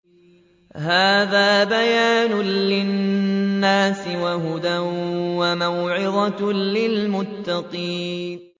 هَٰذَا بَيَانٌ لِّلنَّاسِ وَهُدًى وَمَوْعِظَةٌ لِّلْمُتَّقِينَ